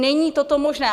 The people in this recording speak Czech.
Není toto možné.